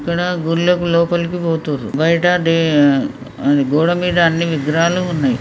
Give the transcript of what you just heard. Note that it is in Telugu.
ఇక్కడ గుళ్ళకి లోపలి పోతుండ్రు బయట గోడ మీద అన్ని విగ్రహాలు ఉన్నాయ్.